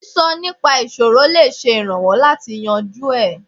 Sísọ nípa ìṣòro lè ṣe ìrànwọ́ láti yanjú ẹ̀.